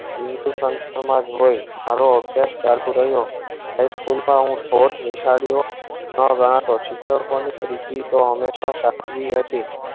એવું તો માજ હોય મારો અભ્યાસ ચાલતું રહ્યો High School મા હું બહુજ વિશાડીયો મા ઘણા છુટા ત્રીજી તો હમેશા સાચવી હતી